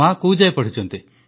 ମାଆ କୋଉ ଯାଏଁ ପଢ଼ିଛନ୍ତି